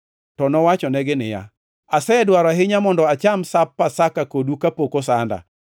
To nowachonegi niya, “Asedwaro ahinya mondo acham Sap Pasakani kodu kapok osanda.